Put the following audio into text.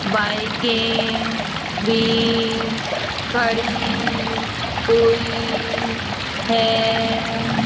बाईकें भी खड़ी हुई है।